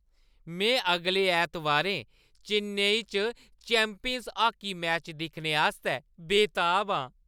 में अगले ऐतबारें चेन्नई च चैंपियंस हाकी मैच दिक्खने आस्तै बेताब आं।